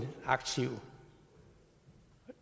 aktiver